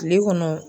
Kile kɔnɔ